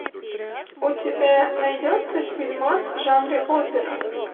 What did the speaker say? у тебя найдется фильмас в жанре опера